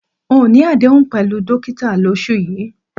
N ò ní àdéhùn pè̩lú dókíta lós̩ù yìí